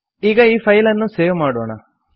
ಈಗ ಈ ಫೈಲ್ ಅನ್ನು ಸೇವ್ ಮಾಡೋಣ